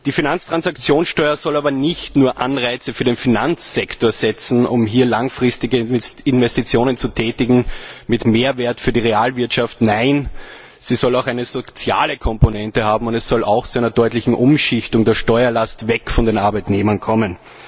Die Finanztransaktionssteuer soll aber nicht nur Anreize für den Finanzsektor setzen, um hier langfristige Investitionen zu tätigen, mit Mehrwert für die Realwirtschaft, nein, sie soll auch eine soziale Komponente haben, und es soll auch zu einer deutlichen Umschichtung der Steuerlast weg von den Arbeitnehmern kommen.